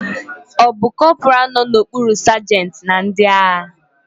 Ọ bụ corporal nọ n'okpuru sajentị na ndị agha?